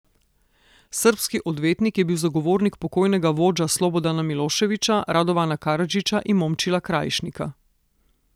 Srbski odvetnik je bil zagovornik pokojnega vožda Slobodana Miloševića, Radovana Karadžića in Momčila Krajišnika.